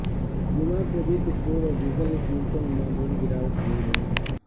جمعہ کو بھی پٹرول اور ڈیزل کی قیمتوں میں معمولی گراوٹ ہوئی ہے